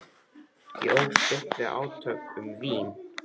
Ég ólst upp við átök um vín.